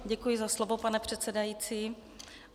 Děkuji za slovo, pane předsedající.